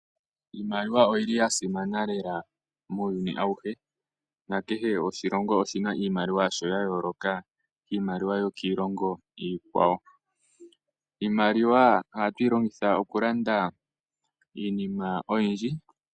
Iimaliwa oyi li yasimana lela muuyuni awuhe, nakehe oshilongo oshi na iimaliwa yasho ya yooloka kiilongo yo kiilongo iikwawo. Iimaliwa ohatu yi longitha okulanda iinima oyindji.